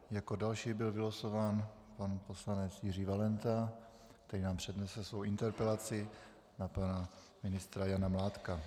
Jako další byl vylosován pan poslanec Jiří Valenta, který nám přednese svou interpelaci na pana ministra Jana Mládka.